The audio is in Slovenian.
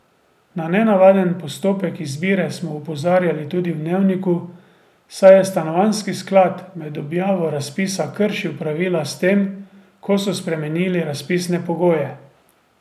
Na nenavaden postopek izbire smo opozarjali tudi v Dnevniku, saj je stanovanjski sklad med objavo razpisa kršil pravila s tem, ko so spremenili razpisne pogoje.